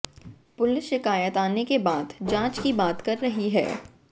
police शिकायत आने के बाद जांच की बात कह रही है